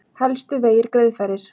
Helstu vegir greiðfærir